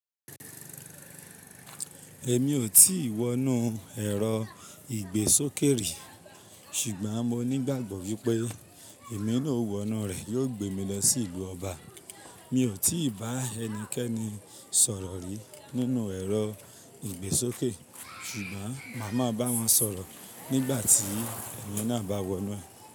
Èmi ò tí wọ inú ẹ̀rọ ìgbésókè rí, ṣùgbọ́n mo ní ìgbàgbọ́ wípé émi ná ó wònú rẹ̀ yóò gbé mi lọ sí ìlú ọba. Mi ò tí bá ẹnikẹ́ni sọ̀rọ̀ rí nínú ẹ̀rọ ìgbésókè, ṣùgbọ́n màá máa bá wọn sọ̀rọ̀ nígbà tí èmi náà bá wọ inú ẹ̀.